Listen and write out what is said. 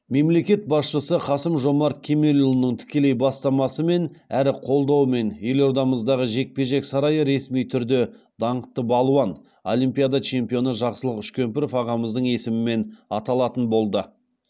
мемлекет басшысы қасым жомарт кемелұлының тікелей бастамасымен әрі қолдауымен елордамыздағы жекпе жек сарайы ресми түрде даңқты балуан олимпиада чемпионы жақсылық үшкемпіров ағамыздың есімімен аталатын болды